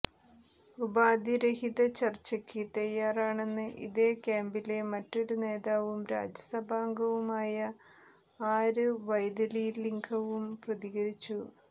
ഉപാധിരഹിത ചര്ച്ചക്ക് തയ്യാറാണെന്ന് ഇതേ ക്യാമ്പിലെ മറ്റൊരു നേതാവും രാജ്യസഭാംഗവുമായയ ആര് വൈതിലിംഗവും പ്രതികരിച്ചു